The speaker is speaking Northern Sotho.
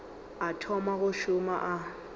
o thoma go šoma o